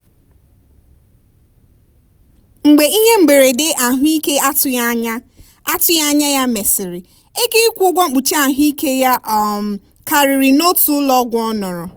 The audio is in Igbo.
mgbe ihe mberede ahụike atụghị anya atụghị anya ya mesịrị ego ịkwụ ụgwọ mkpuchi ahụ ike ya um karịrị n'otu ụlọọgwụ ọnọrọ.